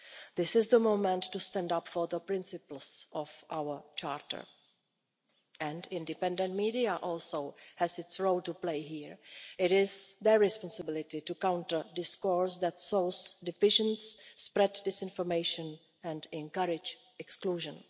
This is the moment to stand up for the principles of our Charter. And the independent media also have their role to play here it is their responsibility to counter discourse that sows division, spreads disinformation and encourages exclusion.